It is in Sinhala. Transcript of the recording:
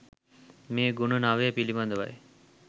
මේ ගුණ නවය පිළිබඳවයි.